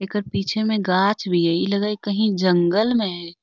ऐकर पीछे मे गाछ भी हई ई लग हई कही जंगल मे हई |